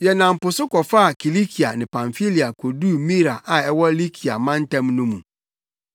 Yɛnam po so kɔfaa Kilikia ne Pamfilia koduu Mira a ɛwɔ Likia mantam mu no mu.